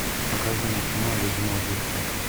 покажи мне кино людмила гурченко